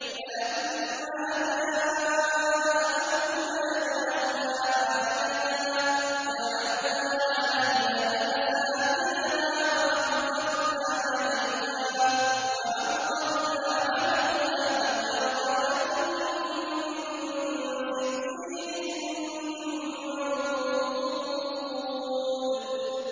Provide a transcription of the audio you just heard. فَلَمَّا جَاءَ أَمْرُنَا جَعَلْنَا عَالِيَهَا سَافِلَهَا وَأَمْطَرْنَا عَلَيْهَا حِجَارَةً مِّن سِجِّيلٍ مَّنضُودٍ